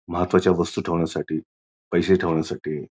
महत्त्वाच्या वस्तू ठेवण्यासाठी पैसे ठेवण्यासाठी.